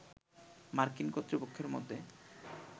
মার্কিন কর্তৃপক্ষের মতে